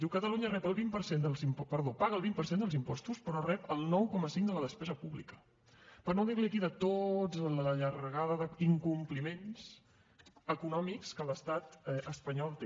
diu catalunya paga el vint per cent dels impostos però rep el nou coma cinc de la despesa pública per no dir li aquí tota la llargada d’incompliments econòmics que l’estat espanyol té